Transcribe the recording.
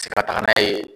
Ka taga n'a ye